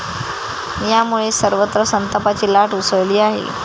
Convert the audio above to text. यामुळे सर्वत्र संतापाची लाट उसळली आहे.